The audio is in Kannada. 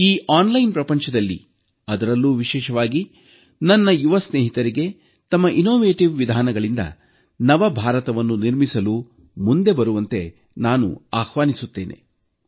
ಈ ಆನ್ಲೈನ್ ಪ್ರಪಂಚದಲ್ಲಿ ಅದರಲ್ಲೂ ವಿಶೇಷವಾಗಿ ನನ್ನ ಯುವ ಸ್ನೇಹಿತರಿಗೆ ತಮ್ಮ ಅನುಶೋಧನಾತ್ಮಕ ವಿಧಾನಗಳಿಂದ ನವ ಭಾರತವನ್ನು ನಿರ್ಮಿಸಲು ಮುಂದೆ ಬರಲು ನಾನು ಆಹ್ವಾನಿಸುತ್ತೇನೆ